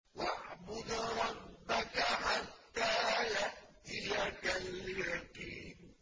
وَاعْبُدْ رَبَّكَ حَتَّىٰ يَأْتِيَكَ الْيَقِينُ